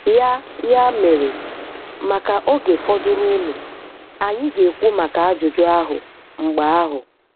Ya Ya mere, maka oge fọdụrụnụ, anyị ga-ekwu maka ajụjụ ahụ mgbe ahụ.